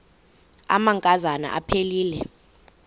amanka zana aphilele